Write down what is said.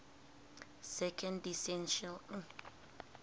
second declension adjectives